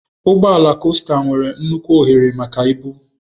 Ụgbọ ala costa nwere nnukwu ohere maka ibu.